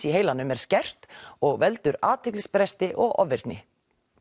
í heilanum er skert og veldur athyglisbresti og ofvirkni